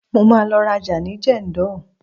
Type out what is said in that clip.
mo ma lo raja ni jendol